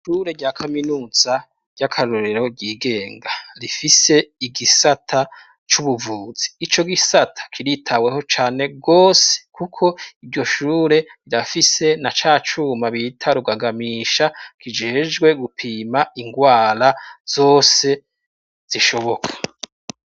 Ishure rya Kaminuza ry'akarorero ryigenga rifise igisata c'ubuvuzi ico gisata kiritaweho cane bwose kuko iryo shure rirafise na cacuma bita rugagamisha kijejwe gupima ingwara zose zishoboka.